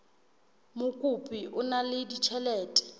mokopi o na le ditjhelete